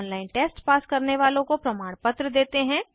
online test pass करने वालों को प्रमाणपत्र देते हैं